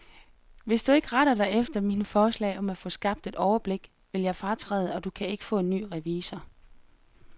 Hvis du ikke retter dig efter mine forslag om at få skabt et overblik, vil jeg fratræde, og du kan ikke få en ny revisor.